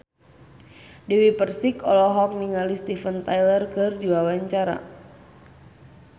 Dewi Persik olohok ningali Steven Tyler keur diwawancara